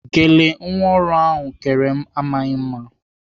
Gele nwa ọrụ m kere m amaghị mma.